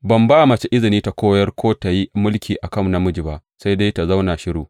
Ban ba mace izini ta koyar ko tă yi mulki a kan namiji ba; sai dai ta zauna shiru.